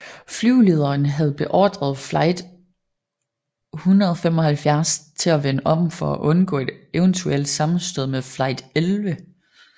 Flyvelederen havde beordret Flight 175 til at vende om for at undgå et eventuelt sammenstød med Flight 11